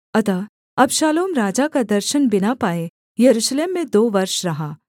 अतः अबशालोम राजा का दर्शन बिना पाए यरूशलेम में दो वर्ष रहा